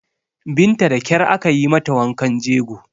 Binta da ƙyar aka yi mata wankan jego